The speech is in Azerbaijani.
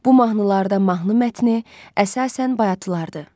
Bu mahnılarda mahnı mətni əsasən bayatılardır.